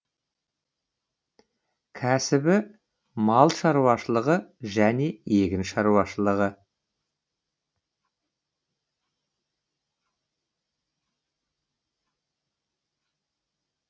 кәсібі мал шаруашылығы және егін шаруашылығы